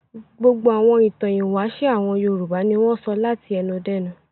Gbogbo àwọn ìtàn ìwáṣẹ̀ àwọn Yorùbá ni wọ́n sọ láti ẹnu dẹ́nu.